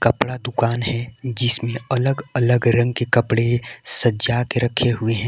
कपड़ा का दुकान है जिसमे अलग अलग रंग के कपड़े सजा के रखे हुए है।